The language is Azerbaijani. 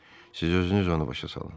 siz özünüz onu başa salın.